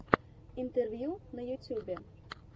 интервью на ютюбе